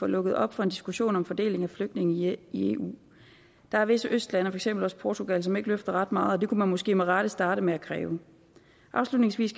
lukket op for en diskussion om fordeling af flygtninge i i eu der er visse østlande og for eksempel også portugal som ikke løfter ret meget og det kunne man måske med rette starte med at kræve afslutningsvis